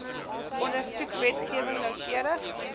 ondersoek wetgewing noukeurig